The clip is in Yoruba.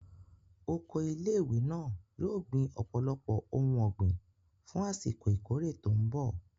Oko ilé ìwé náà yóò gbin ọ̀pọ̀lọpọ̀ ohun ọ̀gbìn fún àsìkò ìkórè tó mbọ̀